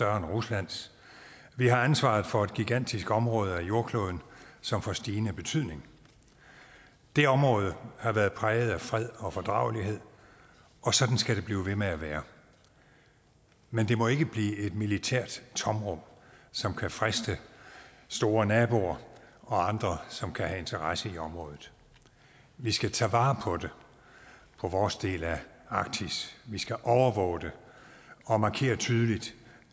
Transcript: ruslands vi har ansvaret for et gigantisk område af jordkloden som får stigende betydning det område har været præget af fred og fordragelighed og sådan skal det blive ved med at være men det må ikke blive et militært tomrum som kan friste store naboer og andre som kan have interesse i området vi skal tage vare på vores del af arktis vi skal overvåge det og markere tydeligt